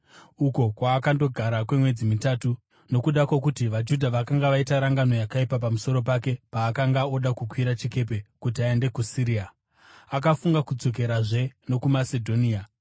uko kwaakandogara kwemwedzi mitatu. Nokuda kwokuti vaJudha vakanga vaita rangano yakaipa pamusoro pake paakanga oda kukwira chikepe kuti aende kuSiria, akafunga kudzokerazve nokuMasedhonia.